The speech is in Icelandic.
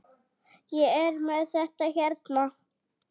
Ég er með þetta hérna.